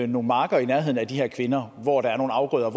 nogle marker i nærheden af de her kvinder hvor der er nogle afgrøder